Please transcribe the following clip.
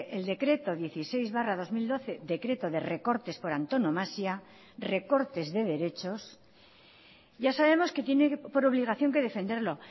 el decreto dieciséis barra dos mil doce decreto de recortes por antonomasia recortes de derechos ya sabemos que tiene por obligación que defenderlo